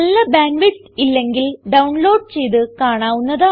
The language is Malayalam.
നല്ല ബാൻഡ് വിഡ്ത്ത് ഇല്ലെങ്കിൽ ഡൌൺലോഡ് ചെയ്ത് കാണാവുന്നതാണ്